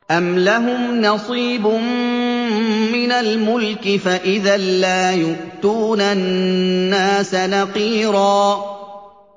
أَمْ لَهُمْ نَصِيبٌ مِّنَ الْمُلْكِ فَإِذًا لَّا يُؤْتُونَ النَّاسَ نَقِيرًا